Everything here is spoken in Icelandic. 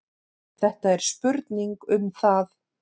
Þetta er spurning um það.